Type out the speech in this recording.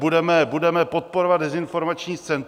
Budeme podporovat dezinformační scénu.